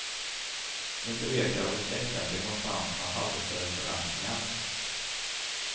Inte vet jag vad de käcka demonstranterna hade för förväntningar.